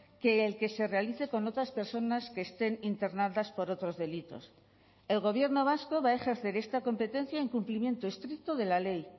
que el que se realice con otras personas que estén internadas por otros delitos el gobierno vasco va a ejercer esta competencia en cumplimiento estricto de la ley